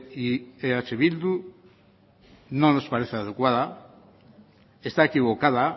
y eh bildu no nos parece adecuada está equivocada